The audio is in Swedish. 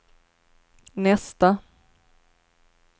nästa